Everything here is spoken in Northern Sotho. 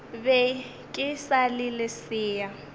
be ke sa le lesea